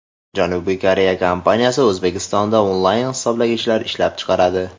Janubiy Koreya kompaniyasi O‘zbekistonda onlayn hisoblagichlar ishlab chiqaradi.